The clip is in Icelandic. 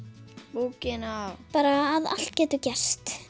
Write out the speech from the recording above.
bókina bara að allt getur gerst